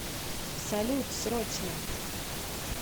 салют срочно